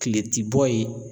Tile ti bɔ yen.